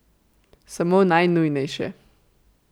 Samo najnujnejše.